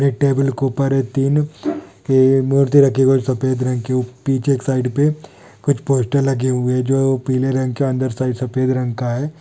एक टेबल के ऊपर मूर्ति